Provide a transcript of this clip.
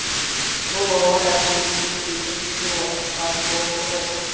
ол балалар әйтеуір үйтіп бүйтіп үшке оқып шығатын болып тұр ғой